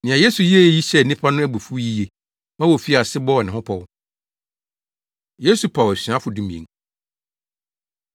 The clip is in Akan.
Nea Yesu yɛe yi hyɛɛ nnipa no abufuw yiye ma wofii ase bɔɔ ne ho pɔw. Yesu Paw Asuafo Dumien